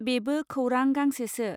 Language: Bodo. बेबो खौरां गांसेसो.